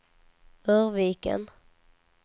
Örviken